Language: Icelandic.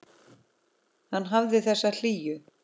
Hann hafði þessa hlýju.